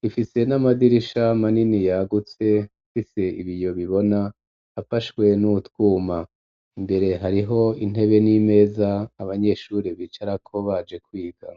rifise n'amadirisha manini yagutse ifise ibiyo bibona afashwe n'utwuma, imbere hariho intebe n'imeza abanyeshure bicarako baje kwiga.